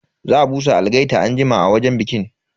Za a busa algaita anjima a wajen bikin.